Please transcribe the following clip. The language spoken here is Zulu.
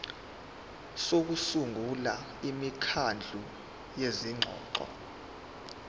sokusungula imikhandlu yezingxoxo